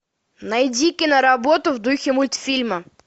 найди киноработу в духе мультфильма